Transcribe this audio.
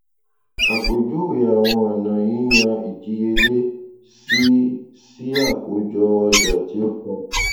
àpèjúwe àwọn ọnà yíyan ìdíyèlé sí sí àkójọ ọjà tí o tà